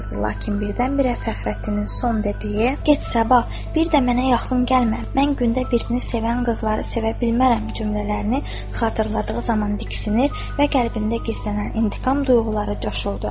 Lakin birdən-birə Fəxrəddinin son dediyi, get səbah, bir də mənə yaxın gəlmə, mən gündə birini sevən qızları sevə bilmərəm cümlələrini xatırladığı zaman diksinir və qəlbində gizlənən intiqam duyğuları coşulurdu.